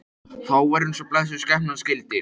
Þá var eins og blessuð skepnan skildi.